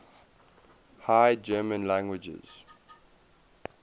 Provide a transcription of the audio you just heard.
high german languages